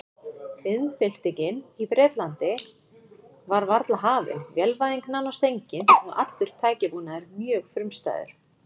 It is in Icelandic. Iðnbyltingin í Bretlandi var varla hafin, vélvæðing nánast engin og allur tækjabúnaður mjög frumstæður.